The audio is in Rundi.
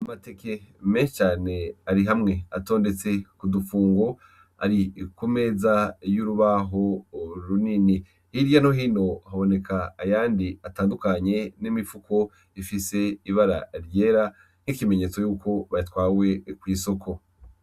Amateke menshi cane ari hamwe atondetse kudufungo ari kumeza yurubaho runini hirya no hino haboneka ayandi atandukanye nimifuko ifise ibara ryera n’ikimenyetso yuko batwaye kwisoko.